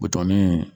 Buton ni